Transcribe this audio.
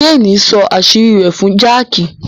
Jane nsọ àṣírí rẹ̀ fún Jack.